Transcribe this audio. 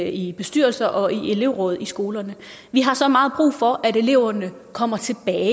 i bestyrelser og i elevråd skolerne vi har så meget brug for at eleverne kommer tilbage